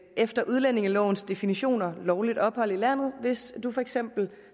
efter udlændingelovens definition ikke har lovligt ophold i landet hvis man for eksempel